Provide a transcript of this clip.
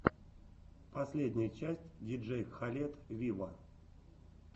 последняя часть диджей кхалед виво